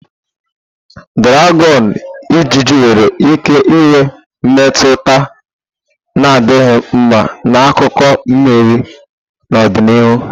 Draghon-ijiji nwere ike inwe mmetụta na-adịghị mma n'akụkụ mmiri n'ọdịnihu.